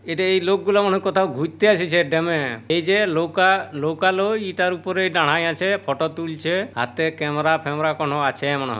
এটা এই লোক গুলো মনে কোথাও ঘুরতে এসেছে ড্যামে-এ। এই যে লোকা লোকালো ইটার উপরে দাঁড়ায় আছে ফটো তুলছে। হাতে ক্যামেরা ফ্যামেরা কোনো আছে মনে হ--